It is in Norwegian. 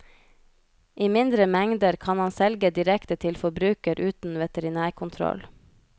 I mindre mengder kan han selge direkte til forbruker uten veterinærkontroll.